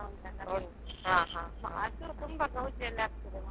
Mahalingeshwara ದೇವಸ್ಥಾನ ಉಂಟಲ್ಲ ಅದು ತುಂಬಾ ಗೌಜಿ ಯಲ್ಲಿ ಆಗ್ತದೆ.